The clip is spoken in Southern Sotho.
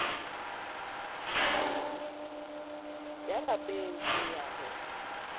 ya lapeng ho ya ho